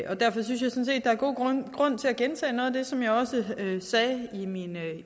der er god grund grund til at gentage noget af det som jeg også sagde i min